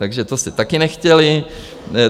Takže to jste také nechtěli.